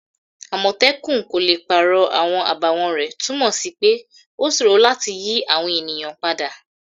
Àmòtẹ́kun kò le pàrọ̀ àwọn àbàwọ́n rẹ̀' túnmọ̀ sí pé ó sòro láti yí àwọn èèyàn padà